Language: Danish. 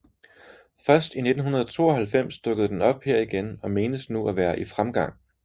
Først i 1992 dukkede den op her igen og menes nu at være i fremgang